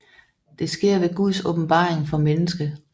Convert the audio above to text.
Det sker ved Guds åbenbaring for mennesket